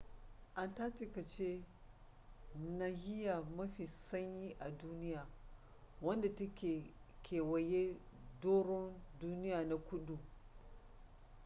antarctica ce nahiya mafi sanyi a duniya wadda ta kewaye doron duniya na kudu